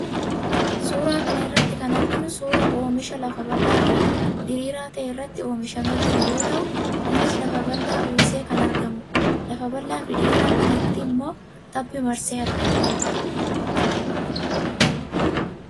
Suuraa kana irratti kan arginu suuraa oomisha lafa bal'aa fi diriiraa ta'e irratti oomishamee jiru yoo ta'u, innis lafa bal'aa uwwisee kan argamudha. Lafa bal'aa fi diriiraa kanatti immoo tabbi marsee argama.